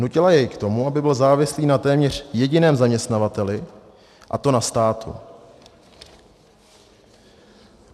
Nutila jej k tomu, aby byl závislý na téměř jediném zaměstnavateli, a to na státu.